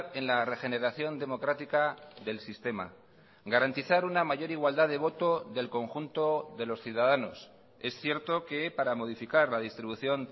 en la regeneración democrática del sistema garantizar una mayor igualdad de voto del conjunto de los ciudadanos es cierto que para modificar la distribución